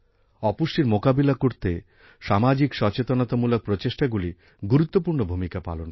অপুষ্টির মোকাবিলা করতে সামাজিক সচেতনতামূলক প্রচেষ্টাগুলি গুরুত্বপূর্ণ ভূমিকা পালন করে